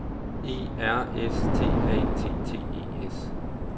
E R S T A T T E S